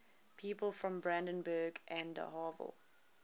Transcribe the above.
people from brandenburg an der havel